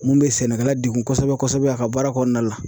Mun be sɛnɛkɛla dekun kosɛbɛ kosɛbɛ a ka baara kɔnɔna la.